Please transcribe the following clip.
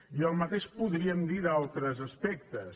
i el mateix podríem dir d’altres aspectes